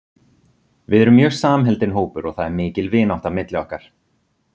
Við erum mjög samheldinn hópur og það er mikil vinátta milli okkar.